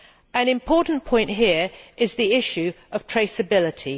An important point here is the issue of traceability.